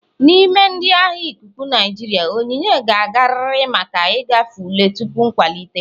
N'ime ndị agha ikuku Naijiria, onyinye ga-agarịrị maka ịgafe ule tupu nkwalite.